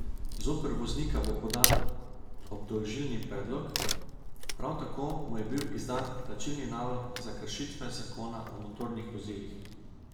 Zoper voznika bo podan obdolžilni predlog, prav tako mu je bil izdan plačilni nalog za kršitve zakona o motornih vozilih.